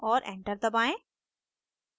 और enter दबाएं